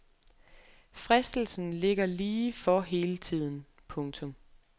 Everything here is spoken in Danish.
Fristelsen ligger lige for hele tiden. punktum